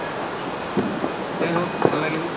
যাই হওঁক ভাল লাগিল